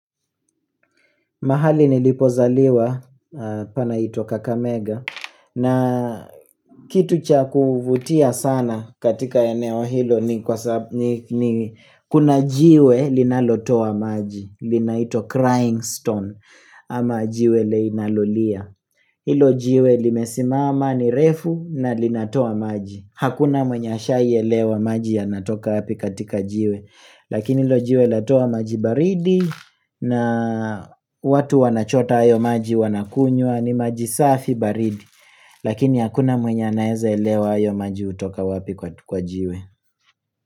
Mahali nilipozaliwa panaitwa Kakamega na kitu cha kuvutia sana katika eneo hilo ni kuna jiwe linalotoa maji. Linaitwa Crying Stone ama jiwe inalolia. Hilo jiwe limesimama ni refu na linatoa maji. Hakuna mwenye ashaielewa maji yanatoka wapi katika jiwe. Lakini ilo jiwe latoa maji baridi na watu wanachota ayo maji wanakunywa ni maji safi baridi Lakini hakuna mwenye anaeza elewa ayo maji hutoka wapi kwa jiwe.